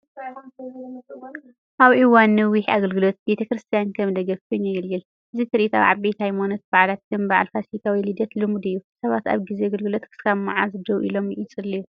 ኣብ እዋን ነዊሕ ኣገልግሎት ቤተ ክርስቲያን ከም ደገፍ ኮይኑ የገልግል። እዚ ትርኢት ኣብ ዓበይቲ ሃይማኖታዊ በዓላት ከም በዓል ፋሲካ ወይ ልደት ልሙድ እዩ። ሰባት ኣብ ግዜ ኣገልግሎት ክሳብ መዓስ ደው ኢሎም ይጽልዩ?